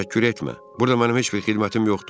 Burada mənim heç bir xidmətim yoxdur.